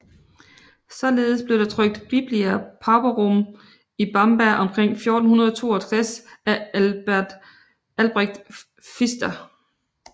Således blev der trykt Biblia Pauperum i Bamberg omkring 1462 af Albrecht Pfister